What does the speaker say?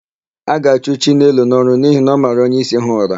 A ga-achụ Chinelo n'ọrụ n'ihi na ọ mara onyeisi ha ụra.